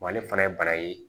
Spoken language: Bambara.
ale fana ye bara ye